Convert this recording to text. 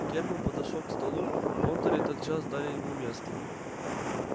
германн подошёл к столу понтёры тотчас дали ему место